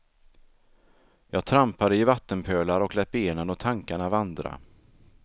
Jag trampade i vattenpölar och lät benen och tankarna vandra.